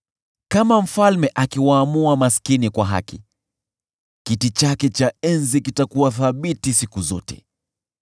Kama mfalme akiwaamua maskini kwa haki, kiti chake cha enzi kitakuwa thabiti siku zote.